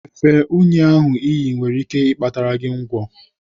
Efe únyí ahụ iyi nwere ike ịkpatara gị ngwọ.